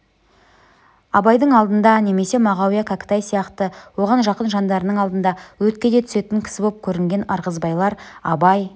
абайдың алдында немесе мағауия кәкітай сияқты оған жақын жандарының алдында өртке де түсетін кісі боп көрінген ырғызбайлар абай